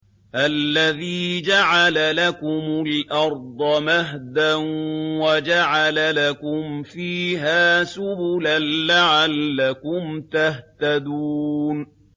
الَّذِي جَعَلَ لَكُمُ الْأَرْضَ مَهْدًا وَجَعَلَ لَكُمْ فِيهَا سُبُلًا لَّعَلَّكُمْ تَهْتَدُونَ